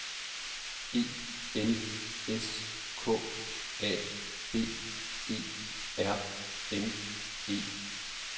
E L S K A B E R N E